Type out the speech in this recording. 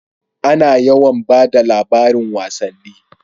A na yawan bada labarin wasanni